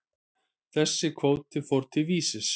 Þessi kvóti fór til Vísis.